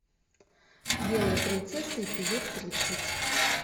белая принцесса эпизод тридцать